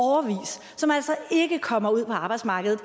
som altså ikke kommer ud på arbejdsmarkedet